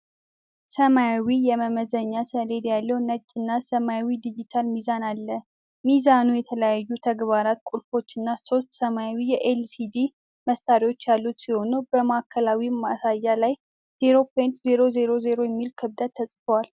ሰማያዊ የመመዘኛ ሰሌዳ ያለው ነጭ እና ሰማያዊ ዲጂታል ሚዛን አለ። ሚዛኑ የተለያዩ ተግባራት ቁልፎች እና ሦስት ሰማያዊ የኤል ሲ ዲ (LCD) ማሳያዎች ያሉት ሲሆን፣ በማዕከላዊው ማሳያ ላይ "0.000" የሚል ክብደት ተጽፏል።